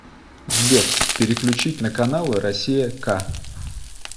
сбер переключить на каналы россия к